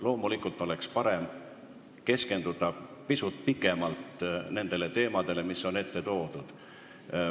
Loomulikult oleks parem keskenduda pisut pikemalt teemadele, mis on saali ette toodud.